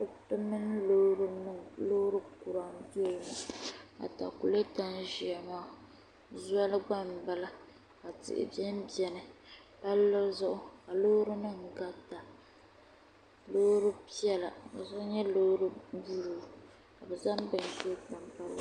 Kuriti mini loori kura n doya atakulɛta n ʒɛya maa zoli gba n bala tihi biɛni biɛni palli zuɣu ka loori nim garita loori piɛla ka so nyɛ loori buluu kazaŋ bihi ʒili di puuni